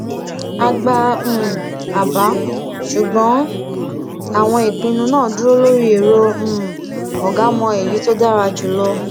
a gba um àbá ṣùgbọn àwọn ìpinnu náà dúró lórí èrò um ọgá mọ èyí tó dára jù lọ